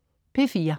P4: